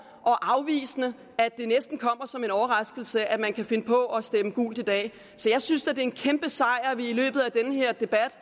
og afvisende at det næsten kommer som en overraskelse at man kan finde på at stemme gult i dag så jeg synes det er en kæmpe sejr at vi i løbet af den her debat